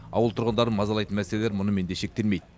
ауыл тұрғындарын мазалайтын мәселелер мұнымен де шектелмейді